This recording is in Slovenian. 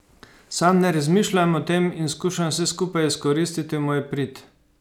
Sam ne razmišljam o tem in skušam vse skupaj izkoristiti v moj prid.